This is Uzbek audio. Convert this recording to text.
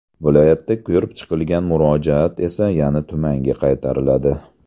Viloyatda ko‘rib chiqilgan murojaat esa yana tumanga qaytariladi.